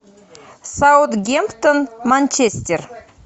саутгемптон манчестер